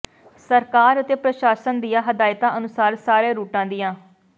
ਸਰਕਾਰ ਅਤੇ ਪ੍ਰਸ਼ਾਸ਼ਨ ਦੀਆਂ ਹਦਾਇਤਾਂ ਅਨੁਸਾਰ ਸਾਰੇ ਰੂਟਾਂ ਦੀਆਂ